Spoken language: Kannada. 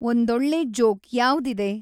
ಒಂದೊಳ್ಳೆ ಜೋಕ್‌ ಯಾವ್ದಿದೆ